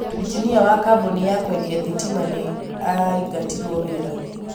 Injinia wa kambuni ya kwendĩa thitima nĩ aingatirũo wĩra